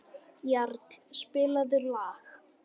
Jarl, spilaðu lag.